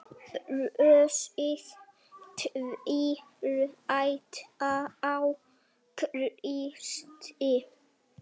Brosið tvírætt á Kristi.